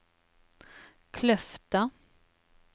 Kløfta